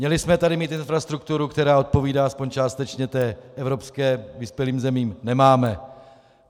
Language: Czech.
Měli jsme tady mít infrastrukturu, která odpovídá aspoň částečně té evropské, vyspělým zemím - nemáme.